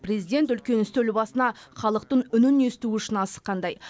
президент үлкен үстел басына халықтың үнін есту үшін асыққандай